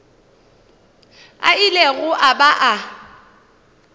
a ilego a ba a